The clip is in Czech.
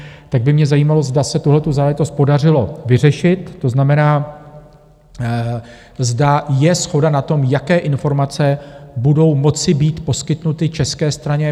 Tak by mě zajímalo, zda se tuhletu záležitost podařilo vyřešit, to znamená, zda je shoda na tom, jaké informace budou moci být poskytnuty české straně?